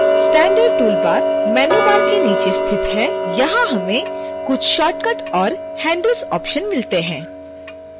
standard toolbar menu bar के नीचे स्थित है यहाँ हमें कुछ शार्टकट और handles ऑप्शन मिलते हैं